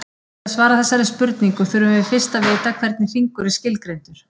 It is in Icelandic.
Til að svara þessari spurningu þurfum við fyrst að vita hvernig hringur er skilgreindur.